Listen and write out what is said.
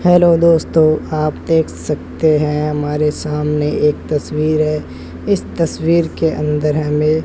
hello दोस्तों आप देख सकते हैं हमारे सामने एक तस्वीर है इस तस्वीर के अंदर हमें --